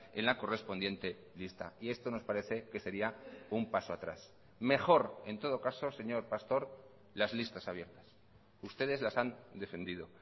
en la correspondiente lista y esto nos parece que sería un paso atrás mejor en todo caso señor pastor las listas abiertas ustedes las han defendido